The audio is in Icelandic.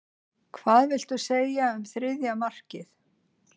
Hvað viltu segja um þriðja markið?